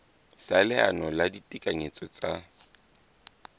sa leano la ditekanyetso tsa